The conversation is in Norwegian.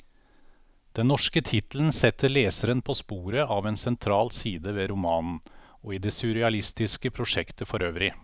Den norske tittelen setter leseren på sporet av en sentral side ved romanen, og i det surrealistiske prosjektet forøvrig.